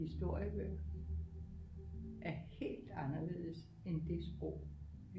Historiebøger er helt anderledes end det sprog